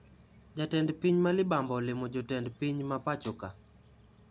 Jatend piny ma libamba olimo jotend piny ma pachoka